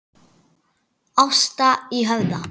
Ásta í Höfða.